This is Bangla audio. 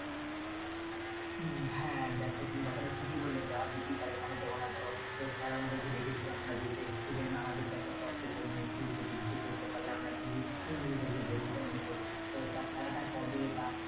হ্যাঁ দেখো তুমি কথাটা ঠিকই বললে যাওয়া যেটাই পারে কেন যাব না ধরো sir আমাদেরকে ডেকেছে আমরা যেহেতু ex student আমাদের তো একটা কর্তব্য মানে school প্রতি কিছু করতে পারলে মানে নিজেরাই নিজেদেরকে গর্বিত মনে করবো তো খেলাটা কবে? বা